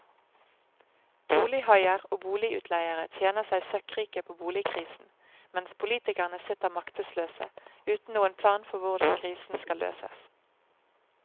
Bolighaier og boligutleiere tjener seg søkkrike på boligkrisen, mens politikerne sitter maktesløse, uten noen plan for hvordan krisen skal løses.